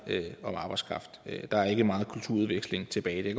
om arbejdskraft der er ikke meget kulturudveksling tilbage det